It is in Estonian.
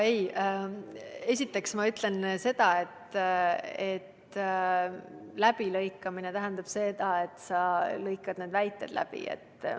Esiteks ma ütlen seda, et läbilõikamine tähendab seda, et sa lõikad need väited läbi.